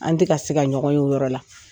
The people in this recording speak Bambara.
An tɛ ka se ka ɲɔgɔn ye o yɔrɔ la